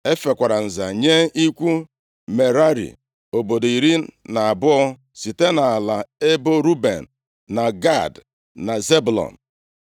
E fekwara nza nye ikwu Merari obodo iri na abụọ site nʼala ebo Ruben, na Gad, na Zebụlọn.